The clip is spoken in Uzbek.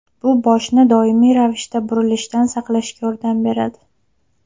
Bu boshni doimiy ravishda burilishdan saqlashga yordam beradi.